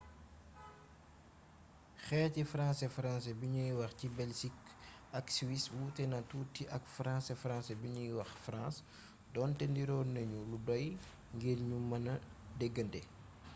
xeeti françaisfrancais bi nuy wax ci belsik ak siwis wuutena tuuti ak françaisfrancais bi nuy wax france donte niroo nañu lu doy ngir ñu mën a déggante